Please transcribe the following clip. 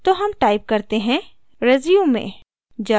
तो हम type करते हैं resume